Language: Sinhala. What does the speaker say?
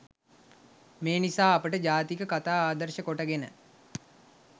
මේ නිසා අපට ජාතක කතා ආදර්ශ කොටගෙන